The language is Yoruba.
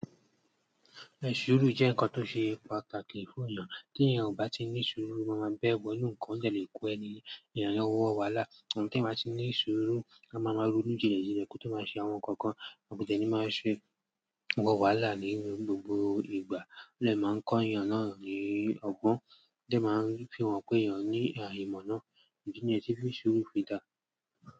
Ṣuurù jẹ́ ǹkan tó ṣe pàtàkì fún èèyàn. Tí èèyàn kò bá ti ní ṣuurù, o máa máa bẹ́ bọ́ inún ǹkan o dẹ̀ léku ẹni. Èèyàn yẹ̀n wọ wàhálà. Un! Tí èèyàn bá ti ní ṣuurù, á máa ma ronu jilẹ jilẹ kí ó tó máa ṣe àwọn ǹkan kan, kodẹ ni máa ṣe wọ wàhálà nínú gbogbo ìgbà. Ódẹ̀ máa ń kọ́ èèyàn náà ní ọgbọ́n, ódẹ̀ máa ń fihàn pé èèyàn ní à ìmọ̀ náà. Ìdí ní yẹn ti fi ṣuurù fi dà.